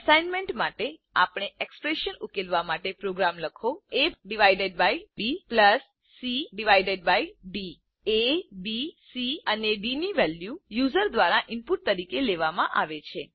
assignment માટે આપેલ expression ઉકેલવા માટે પ્રોગ્રામ લખો aબી cડી એ બી સી અને ડી ની વેલ્યુ યુઝર દ્વારા ઇનપુટ તરીકે લેવામાં આવે છે